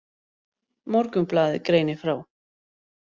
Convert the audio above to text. Morgunblaðið greinir frá.